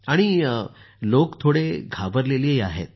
आणि लोक थोडे घाबरले आहेत